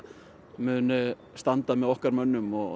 muni standa með okkar mönnum og